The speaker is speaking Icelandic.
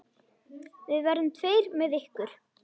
Við verðum tveir með ykkur.